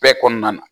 Bɛɛ kɔnɔna na